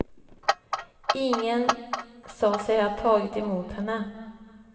Ingen sa sig ha tagit emot henne.